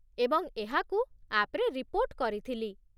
ଏବଂ ଏହାକୁ ଆପ୍‌ରେ ରିପୋର୍ଟ କରିଥିଲି।